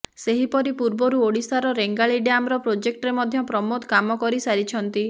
ସେହିପରି ପୂର୍ବରୁ ଓଡ଼ିଶାର ରେଙ୍ଗାଲି ଡ୍ୟାମର ପ୍ରୋଜେକ୍ଟରେ ମଧ୍ୟ ପ୍ରମୋଦ କାମ କରିସାରିଛନ୍ତି